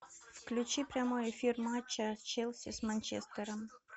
включи прямой эфир матча челси с манчестером